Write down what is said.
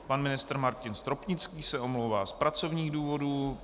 Pan ministr Martin Stropnický se omlouvá z pracovních důvodů.